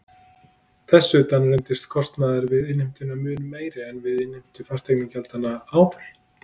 Þess utan reyndist kostnaður við innheimtuna mun meiri en við innheimtu fasteignagjaldanna áður.